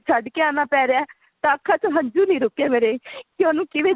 ਛੱਡ ਕੇ ਆਨਾ ਪੈ ਰਿਹਾ ਹੈ ਤਾਂ ਅੱਖਾਂ ਚੋ ਹੰਝੁ ਨਹੀਂ ਰੁਕੇ ਮੇਰੇ ਕੀ ਉਹਨੂੰ ਕਿਵੇਂ